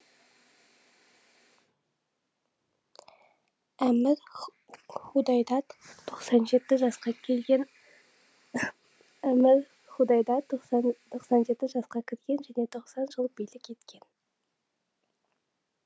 әмір худайдад тоқсан жеті жасқа келген әмір худайдад тоқсан жеті жасқа кірген және тоқсан жыл билік еткен